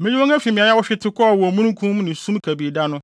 Meyi wɔn afi mmeae a wɔhwete kɔɔ wɔ omununkum ne sum kabii da no.